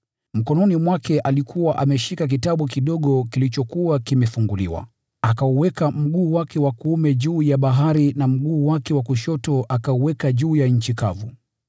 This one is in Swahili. Mkononi mwake alikuwa ameshika kijitabu kilichokuwa kimefunguliwa. Akauweka mguu wake wa kuume juu ya bahari na mguu wake wa kushoto akauweka juu ya nchi kavu.